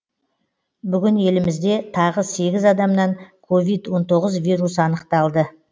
бүгін елімізде тағы сегіз адамнан ковид он тоғыз вирусы анықталды